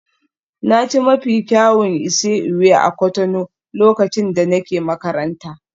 Na ci mafi kyawun isi-ewu a Cotonou lokacin da nake makaranta.